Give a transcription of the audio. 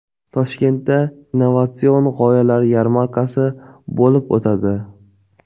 Toshkentda Innovatsion g‘oyalar yarmarkasi bo‘lib o‘tadi.